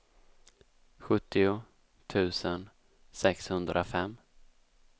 sjuttio tusen sexhundrafem